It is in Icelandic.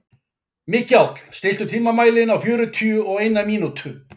Mikjáll, stilltu tímamælinn á fjörutíu og eina mínútur.